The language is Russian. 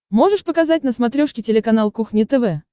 можешь показать на смотрешке телеканал кухня тв